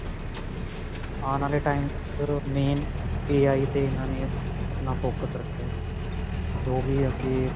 ਆਉਣ ਵਾਲੇ time ਵਿੱਚ main initialAIAinitial ਤੇ ਇਹਨਾ ਨੇ ਆਪਣਾ focus ਰੱਖਿਆ ਜੋ ਵੀ ਅੱਗੇ